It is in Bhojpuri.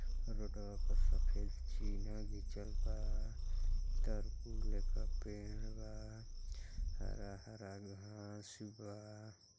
रोड़वा पर सफ़ेद चिन्हा घिंचल बा। तरकुल लेखा पेड़ बा हरा-हरा घाँस बा।